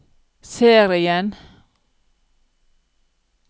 serien